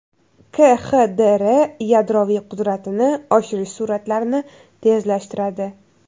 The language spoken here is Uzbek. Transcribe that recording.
KXDR yadroviy qudratini oshirish sur’atlarini tezlashtiradi.